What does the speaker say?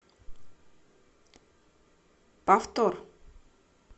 повтор